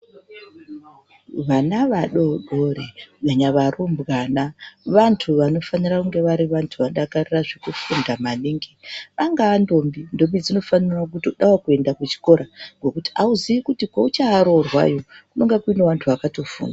Vana vadodori kunyanya varumbwana, vantu vanofanira kunge vari vantu vanodakarira zvekufunda maningi. Angaa ndombi, ndombi dzinofanirawo kutodawo kuenda kuchikora ngekuti hauziyi kuti kweucharoorwa iwe, kunonga kutori nevantu vakatofunda.